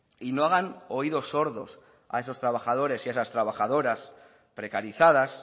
y no hagan oídos sordos a esos trabajadores y a esas trabajadoras precarizadas